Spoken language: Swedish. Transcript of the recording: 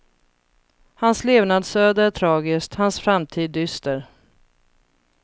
Hans levnadsöde är tragiskt, hans framtid dyster.